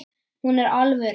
Hún er alvöru.